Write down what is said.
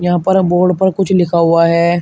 यहां पर बोर्ड पर कुछ लिखा हुआ है।